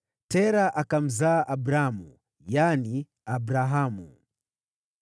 Tera akamzaa Abramu (yaani, Abrahamu).